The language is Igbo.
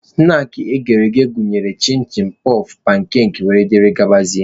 Snaakị ndị eghere eghe gụnyere chịn chịn, pọf, pankakị wdg.